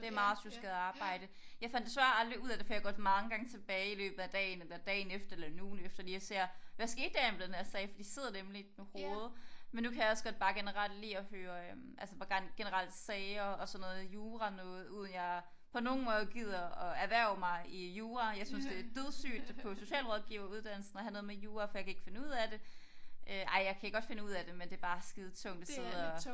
Det er meget sjusket arbejde jeg fandt desværre aldrig ud af det for jeg går mange gange tilbage i løbet af dagen eller dagen efter eller en ugen efter lige og ser hvad skete der egentlig med denne her sag for de sidder nemlig i hovedet men nu kan jeg også godt bare generelt lide at høre øh altså hvor generelt sager og sådan noget jura noget uden jeg på nogen måde gider at erhverve mig i jura jeg synes det er dødssygt på socialrådgiver uddannelsen at have noget med jura for jeg kan ikke finde ud af det øh ej jeg kan godt finde ud af det men det er bare skide tungt og sidde og